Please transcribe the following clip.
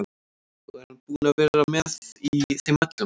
Ó, er hann búinn að vera með í þeim öllum?